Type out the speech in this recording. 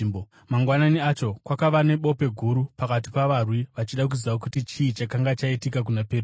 Mangwanani acho, kwakava nebope guru pakati pavarwi vachida kuziva kuti chii chakanga chaitika kuna Petro.